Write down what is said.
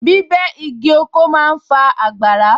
Bíbẹ́ igi oko ma ń fa àgbàrá